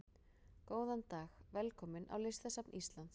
Góðan dag. Velkomin á Listasafn Íslands.